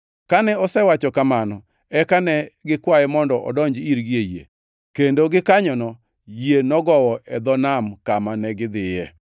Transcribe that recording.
Kane osewacho kamano eka ne gikwaye mondo odonj irgi ei yie. Kendo gikanyono yie nogowo e dho nam kama negidhiye.